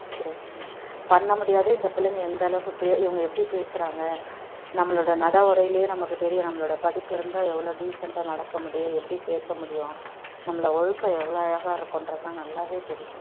பண்ண முடியாது இந்த பிள்ளைங்க எந்த அளவுக்கு இவங்க எப்படி பேசுறாங்க நம்மளுடைய நட உடையிலேயே நமக்கு தெரியும் நம்மளோட படிப்பு இருந்தா எவ்வளவு decent டா நடக்க முடியும் எப்படி பேச முடியும் நம்மள ஒழுக்கம் எவ்வளவு அழகா இருக்குன்றது நல்லாவே தெரியும்